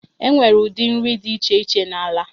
E nwere ụdị nri dị iche iche n'ala.